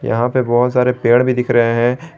यहां पे बहोत सारे पेड़ भी दिख रहे हैं।